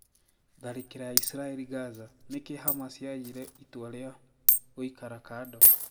Tharikiro ya Israel Gaza: Niki Hamas yayire itua ria gũikara kado?